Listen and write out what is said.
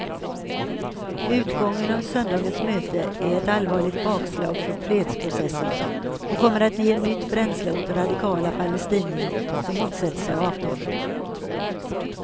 Utgången av söndagens möte är ett allvarligt bakslag för fredsprocessen, och kommer att ge nytt bränsle åt radikala palestinier som motsätter sig avtalet.